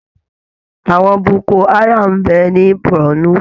Àwọn Boko haram ń bẹ ní Bornu